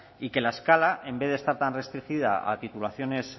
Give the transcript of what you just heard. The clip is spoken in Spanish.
y que la escala en vez de estar tan restringida a titulaciones